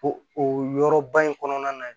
O o yɔrɔ ba in kɔnɔna na